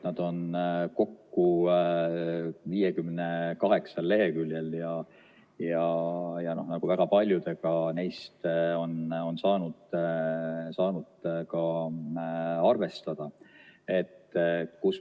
Need on kokku 58 leheküljel ja väga paljudega neist on saanud ka arvestada.